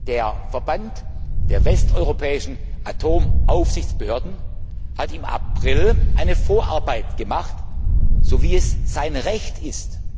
Der Verband der westeuropäischen Atomaufsichtsbehörden hat im April die Vorarbeit geleistet, so wie es sein Recht ist.